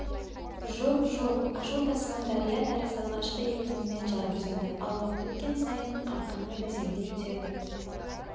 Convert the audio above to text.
жоқ жоқ ашу тасыған дария тәрізді алғашқы екпінімен жар бұзады ал уақыт өткен сайын қарқыны бәсеңдей түседі